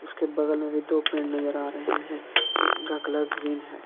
उसके बगल में भी दो पेड़ नजर आ रहे हैं उनका कलर ग्रीन है।